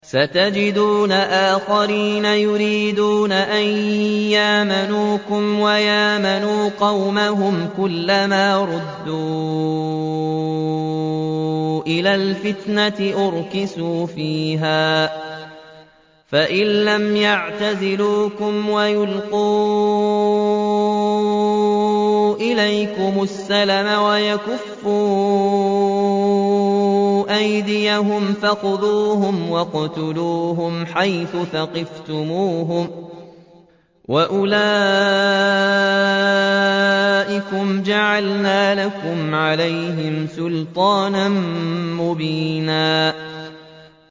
سَتَجِدُونَ آخَرِينَ يُرِيدُونَ أَن يَأْمَنُوكُمْ وَيَأْمَنُوا قَوْمَهُمْ كُلَّ مَا رُدُّوا إِلَى الْفِتْنَةِ أُرْكِسُوا فِيهَا ۚ فَإِن لَّمْ يَعْتَزِلُوكُمْ وَيُلْقُوا إِلَيْكُمُ السَّلَمَ وَيَكُفُّوا أَيْدِيَهُمْ فَخُذُوهُمْ وَاقْتُلُوهُمْ حَيْثُ ثَقِفْتُمُوهُمْ ۚ وَأُولَٰئِكُمْ جَعَلْنَا لَكُمْ عَلَيْهِمْ سُلْطَانًا مُّبِينًا